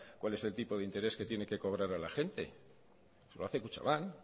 cuál es el tipo de interés que tiene que cobrar a la gente lo hace kutxabank